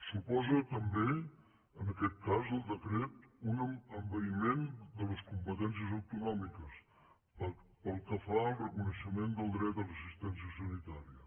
suposa també en aquest cas el decret un envaïment de les competències autonòmiques pel que fa al reconeixement del dret a l’assistència sanitària